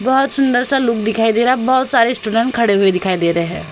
बहोत सुंदर सा लुक दिखाई दे रहा है। बहोत सारे स्टूडेंट खड़े हुए दिखाई दे रहे हैं।